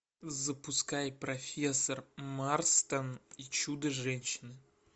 запускай профессор марстон и чудо женщины